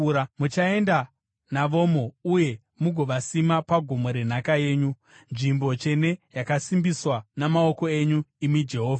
Muchaenda navomo uye mugovasima pagomo renhaka yenyu, nzvimbo tsvene yakasimbiswa namaoko enyu, imi Jehovha.